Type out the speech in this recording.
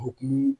O hukumu